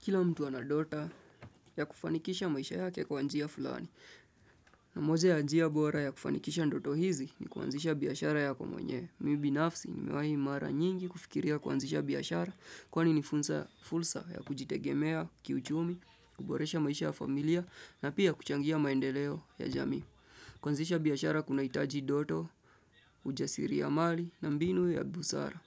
Kila mtu anadoto ya kufanikisha maisha yake kwa njia fulani. Na moja ya njia bora ya kufanikisha ndoto hizi ni kuanzisha biashara yako mwenyewe. Mimi binafsi nimewahi mara nyingi kufikiria kuanzisha biashara kwani ni fursa ya kujitegemea, kiuchumi, kuboresha maisha ya familia na pia kuchangia maendeleo ya jamii. Kuazisha biashara kunahitaji ndoto, ujasiri ya mali na mbinu ya busara.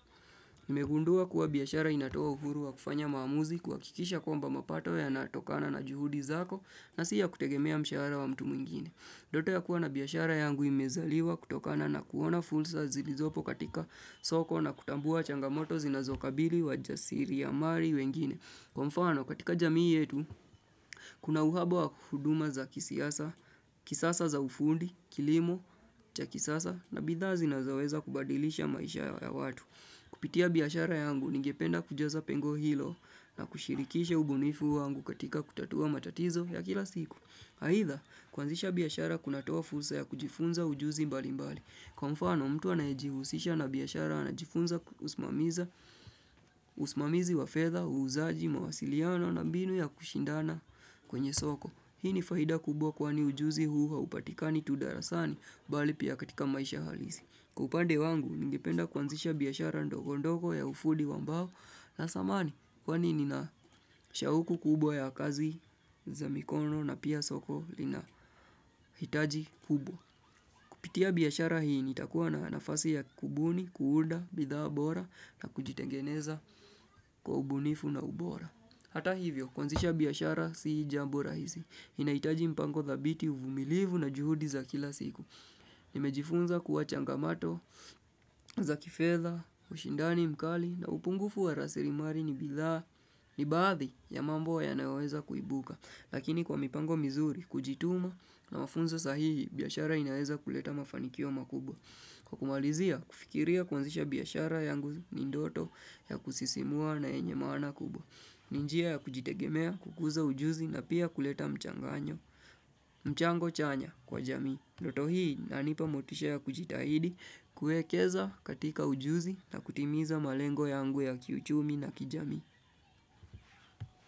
Nimegundua kuwa biashara inatoa uhuru wa kufanya maamuzi kuhakikisha kwamba mapato yanatokana na juhudi zako na sii ya kutegemea mshahara wa mtu mwingine. Ndoto ya kuwa na biashara yangu imezaliwa kutokana na kuona fursa zilizopo katika soko na kutambua changamoto zinazokabili wajasiri ya mali wengine. Kwa mfano katika jamii yetu, kuna uhaba wa huduma za kisiasa, kisasa za ufundi, kilimo, cha kisasa na bidhaa zinazoweza kubadilisha maisha ya watu. Kupitia biashara yangu, ningependa kujaza pengo hilo na kushirikisha ubunifu wangu katika kutatua matatizo ya kila siku. Haidha, kuanzisha biashara kunatoa fursa ya kujifunza ujuzi mbali mbali. Kwa mfano, mtu anajejihusisha na biashara anajifunza usimamishi wa fedha, uuzaji, mawasiliano na binu ya kushindana kwenye soko. Hii ni faida kubwa kwani ujuzi huu haupatika ni tu darasani bali pia katika maisha halisi. Kwa upande wangu, ningipenda kuanzisha biashara ndogo ndogo ya ufudi wa mbao na samani. Kwani ninashauku kubwa ya kazi za mikono na pia soko linahitaji kubwa. Kupitia biashara hii nitakuwa na nafasi ya kubuni, kuunda, bidhaa bora na kuvitengeneza kwa ubunifu na ubora. Hata hivyo, kuanzisha biashara si jambo rahisi. Linahitaji mpango dhabiti, uvumilivu na juhudi za kila siku. Nimejifunza kuwa changamoto za kifedha, ushindani mkali na upungufu wa rasilimali ni bidhaa ni baadhi ya mambo yanayoweza kuibuka. Lakini kwa mipango mizuri, kujituma na mafunzo sahihi, biashara inaweza kuleta mafanikio makubwa. Kwa kumalizia, kufikiria kuanzisha biashara yangu ni ndoto ya kusisimua na yenye maana kubwa ni njia ya kujitegemea, kukuza ujuzi na pia kuleta mchango chanya kwa jamii. Ndoto hii inanipa motisha ya kujitahidi kuekeza katika ujuzi na kutimiza malengo yangu ya kiuchumi na kijamii.